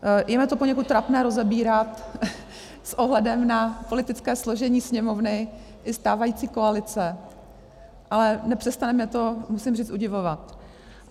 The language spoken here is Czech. Je mi to poněkud trapné rozebírat s ohledem na politické složení Sněmovny i stávající koalice, ale nepřestane mě to, musím říct, udivovat.